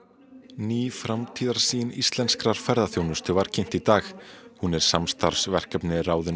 ný framtíðarsýn íslenskrar ferðaþjónustu var kynnt í dag hún er samstarfsverkefni ráðuneytis